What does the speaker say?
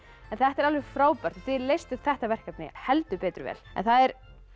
þetta er alveg frábært þið leystuð þetta verkefni heldur betur vel það er